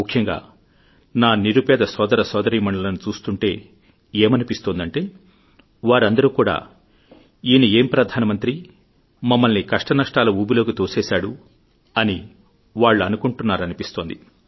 ముఖ్యంగా నా నిరుపేద సోదరసోదరీమణులను చూస్తుంటే ఏమనిపిస్తోందంటే వారందరూ కూడా ఈనేం ప్రధానమంత్రి మమ్మల్ని కష్టనష్టాల ఊబిలోకి తోసేసాడు అని వాళ్లు అనుకుంటున్నారనిపిస్తోంది